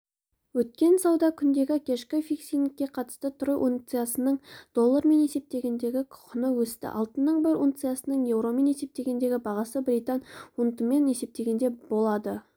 өткен сауда күніндегі кешкі фиксингке қатысты трой унциясының доллармен есептегендегі құны өсті алтынның бір унциясының еуромен есептегендегі бағасы британ фунтымен есептегенде болды